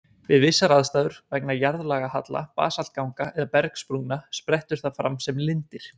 Við vissar aðstæður, vegna jarðlagahalla, basaltganga eða bergsprungna, sprettur það fram sem lindir.